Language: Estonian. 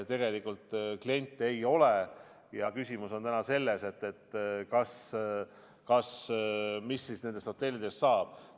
Tegelikult kliente ei ole ja küsimus on selles, mis siis nendest hotellidest saab.